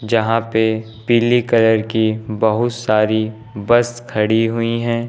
यहां पे पीली कलर की बहुत सारी बस खड़ी हुई हैं।